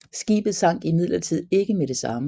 Skibet sank imidlertid ikke med det samme